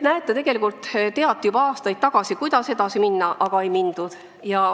Näete, tegelikult teati juba aastaid tagasi, kuidas edasi minna, aga ei mindud.